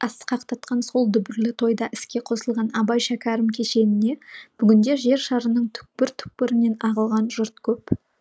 асқақтатқан сол дүбірлі тойда іске қосылған абай шәкәрім кешеніне бүгінде жер шарының түкпір түкпірінен ағылған жұрт көп